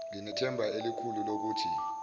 nginethemba elikhulu lokuthi